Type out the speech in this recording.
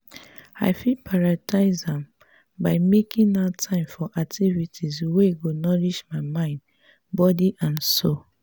i fit prioritize am by making out time for activities wey go nourish my mind body and soul.